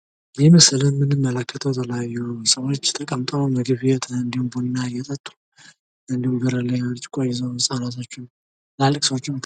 ይህ በምስሉ ላይ የምንመለከተው የተለያዩ ሰወች አንድ ላይ ተቀምጠው እንዲሁም ቡና እየጠጡ እንዱሁም በር ላይ ብርጭቆ ይዘው ህጻናቶችም፣ ትላልቅ ሰዎችም አሉ።